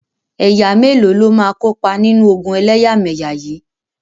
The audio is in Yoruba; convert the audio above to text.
Ẹ̀yà mélòó ló máa kópa nínú ogun ẹlẹ́yàmẹyà yìí?